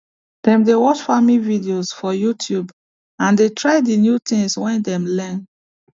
dem dey watch farming videos for youtube and dey try the new things wey dem learn